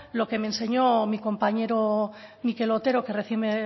lo que me enseñó mi compañero mikel otero que recién